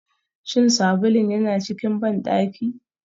Shin sabulun yana cikin bandaki?